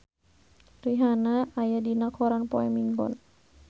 Rihanna aya dina koran poe Minggon